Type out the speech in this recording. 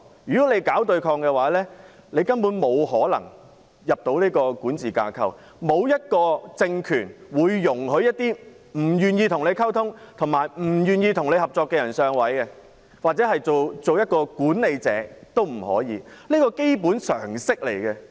如果搞對抗的話，根本沒可能加入管治架構，因為沒有一個政權會容許一些不願意與其溝通和合作的人"上位"，甚或是擔任管理者，這是基本的常識。